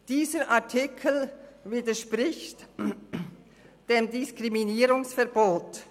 Dieser Artikel widerspricht dem Diskriminierungsverbot.